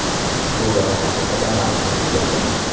Ushbu loyiha haqida ma’lumot juda kam.